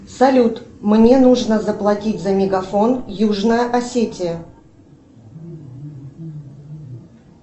салют мне нужно заплатить за мегафон южная осетия